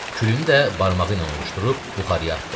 Külünü də barmağı ilə ovuşdurub buxarıya atdı.